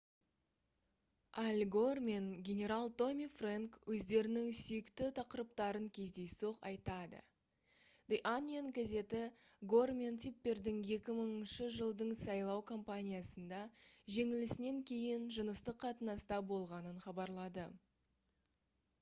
аль гор мен генерал томми фрэнк өздерінің сүйікті тақырыптарын кездейсоқ айтады the onion газеті гор мен типпердің 2000 жылдың сайлау компаниясында жеңілісінен кейін жыныстық қатынаста болғанын хабарлады